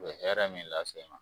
U bɛ hɛrɛ min lase i ma.